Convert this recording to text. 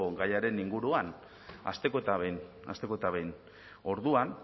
gaiaren inguruan hasteko eta behin hasteko eta behin orduan